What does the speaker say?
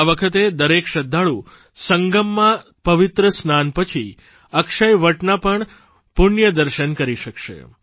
આ વખતે દરેક શ્રદ્ધાળુ સંગમમાં પવિત્ર સ્નાન પછી અક્ષયવડના પણ પુણ્યદર્શન કરી શકશે